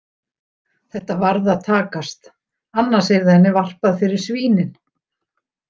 Þetta varð að takast annars yrði henni varpað fyrir svínin.